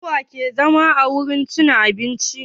Su wa ke zama a wurin cin abincin?